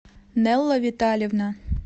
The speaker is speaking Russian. нелла витальевна